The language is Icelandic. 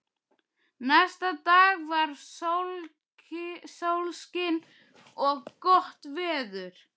Næsta dag var sólskin og gott veður.